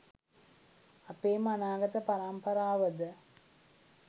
අපේම අනාගත පරම්පරාවද?